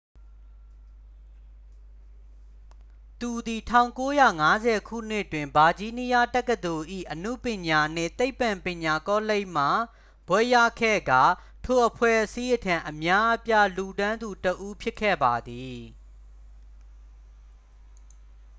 သူသည် 1950 ခုနှစ်တွင် ဗာဂျီးနီးယားတက္ကသိုလ်၏ အနုပညာနှင့် သိပ္ပံပညာကောလိပ်မှ ဘွဲ့ရခဲ့ကာ ထိုအဖွဲ့အစည်းထံ အများအပြားလှူဒါန်းသူတစ်ဦးဖြစ်ခဲ့ပါသည်